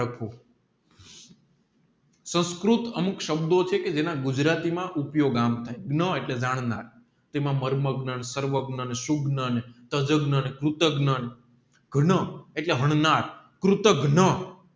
સંસ્કૃત અમુક સંબંધો છે કે જેના ગુજરાતી માં ઉપયોગ આમ થાય ન એટલે એટલે હરનાર